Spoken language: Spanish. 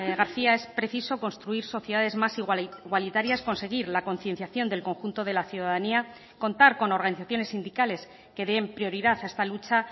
garcía es preciso construir sociedades más igualitarias conseguir la concienciación del conjunto de la ciudadanía contar con organizaciones sindicales que den prioridad a esta lucha